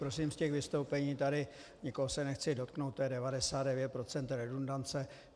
Prosím, z těch vystoupení tady - nikoho se nechci dotknout - to je 99 % redundance.